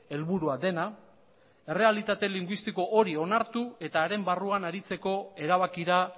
helburua dena errealitate linguistiko hori onartu eta haren barruan aritzeko erabakira